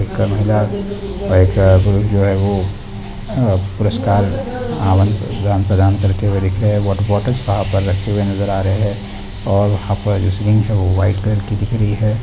एक महिला एक आदमी है जो पुरस्कार प्रदान करके और एक है वॉटर बॉटल वहां पर रखे हुए नजर आ रहे हैं और वहां पर जो सीलिंग है व्हाइट कलर की दिख रही है।